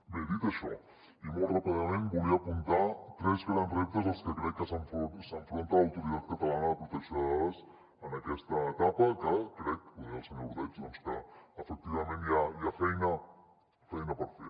bé dit això i molt ràpidament volia apuntar tres grans reptes als que crec que s’enfronta l’autoritat catalana de protecció de dades en aquesta etapa que crec ho deia el senyor ordeig doncs que efectivament hi ha feina per fer